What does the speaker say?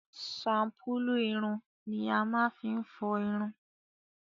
shampulu ìrùn ni a máa fi n fọ ìrùn.